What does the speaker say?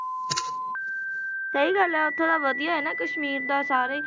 ਸਹੀ ਗੱਲ ਹੈ ਉੱਥੋਂ ਦਾ ਵਧੀਆ ਹੈ ਨਾ ਕਸ਼ਮੀਰ ਦਾ ਸਾਰੇ ਹੀ,